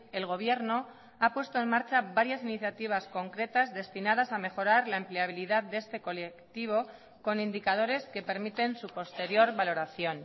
el gobierno ha puesto en marcha varias iniciativas concretas destinadas a mejorar la empleabilidad de este colectivo con indicadores que permiten su posterior valoración